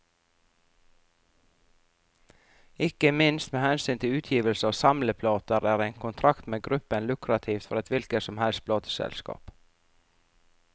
Ikke minst med hensyn til utgivelse av samleplater, er en kontrakt med gruppen lukrativt for et hvilket som helst plateselskap.